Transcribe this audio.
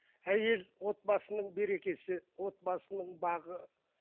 әйел отбасының берекесі отбасының бағы